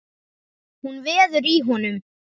Hún veður í honum.